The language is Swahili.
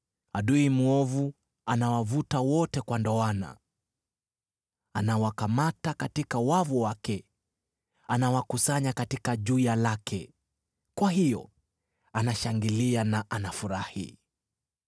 Adui mwovu anawavuta wote kwa ndoana, anawakamata katika wavu wake, anawakusanya katika juya lake; kwa hiyo anashangilia na anafurahi.